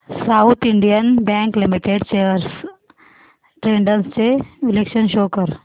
south Indian Bank Limited shares trends चे विश्लेषण show कर